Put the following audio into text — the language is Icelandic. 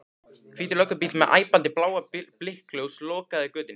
Hvítur löggubíll með æpandi blá blikkljós lokaði götunni.